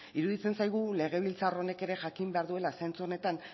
iruditzen zaigu legebiltzar honek ere jakin behar duela zentzu honetan